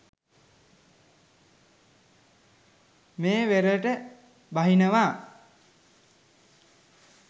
මේ වෙරළට බහිනවා.